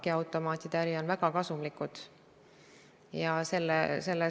Peagi möödub kolm aastat sellest suurest päevast, kui Jüri Ratas eelmise valitsuse juhina väisas Tallinna linnahalli.